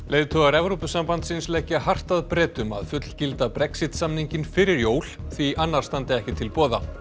leiðtogar Evrópusambandsins leggja hart að Bretum að fullgilda Brexit samninginn fyrir jól því annar standi ekki til boða